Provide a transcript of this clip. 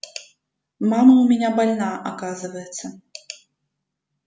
мама у меня больна оказывается